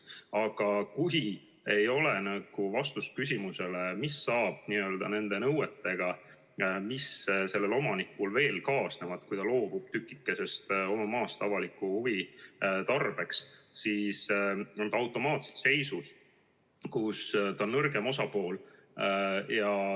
Aga kui ei ole vastust küsimusele, mis saab nõuetega, mis omanikul veel kaasnevad, kui ta loobub tükikesest oma maast avalikes huvides, siis on omanik automaatselt seisus, kus ta on nõrgem osapool.